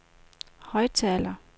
højttaler